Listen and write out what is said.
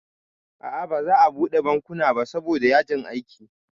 A'a baza a buɗe bankuna ba saboda yajin aiki